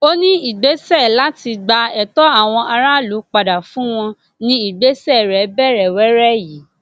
ó ní ìgbésẹ láti gba ẹtọ àwọn aráàlú padà fún wọn ní ìgbésẹ rẹ bẹrẹ wẹrẹ yìí